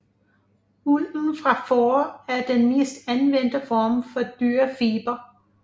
Ulden fra får er den mest anvendte form for dyrefiber